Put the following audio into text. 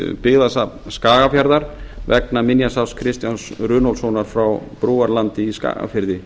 byggðasafn skagafjarðar vegna minjasafns kristjáns runólfssonar frá brúarlandi í skagafirði